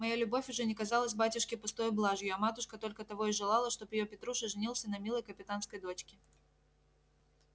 моя любовь уже не казалась батюшке пустою блажью а матушка только того и желала чтоб её петруша женился на милой капитанской дочке